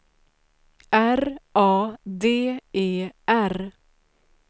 R A D E R